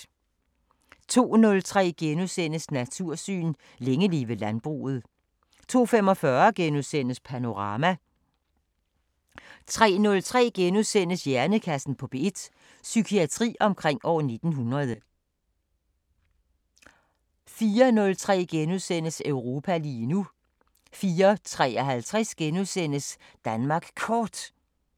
02:03: Natursyn: Længe leve landbruget * 02:45: Panorama * 03:03: Hjernekassen på P1: Psykiatri omkring år 1900 * 04:03: Europa lige nu * 04:53: Danmark Kort *